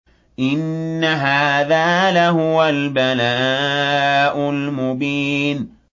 إِنَّ هَٰذَا لَهُوَ الْبَلَاءُ الْمُبِينُ